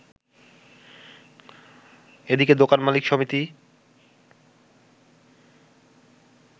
এদিকে দোকান মালিক সমিতি